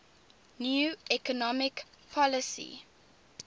new economic policy